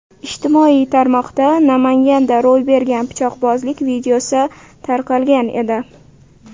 Ijtimoiy tarmoqda Namanganda ro‘y bergan pichoqbozlik videosi tarqalgan edi.